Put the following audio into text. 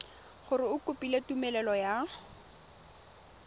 gore o kopile tumelelo ya